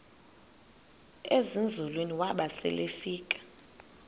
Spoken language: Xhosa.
ezinzulwini waba selefika